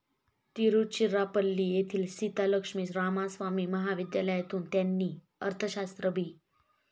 तिरुचिरापल्ली येथील सीतालक्ष्मी रामास्वामी महाविद्यालयातून त्यांनी अर्थशास्त्र बी.